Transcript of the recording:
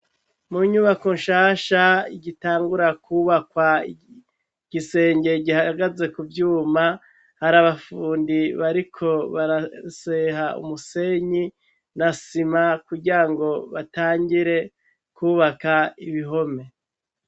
Mu nyubako shasha igitangura kubakwa igisenge gihagaze ku vyuma hari abafundi bariko baraseha umusenyi na sima kugirango batangure kubaka ibihome.